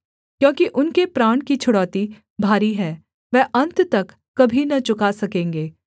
क्योंकि उनके प्राण की छुड़ौती भारी है वह अन्त तक कभी न चुका सकेंगे